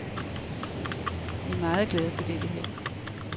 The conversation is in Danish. Vi er meget glade for dette her.